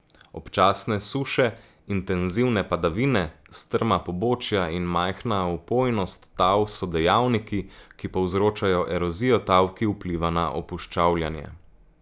Občasne suše, intenzivne padavine, strma pobočja in majhna vpojnost tal so dejavniki, ki povzročajo erozijo tal, ki vpliva na opuščavljanje.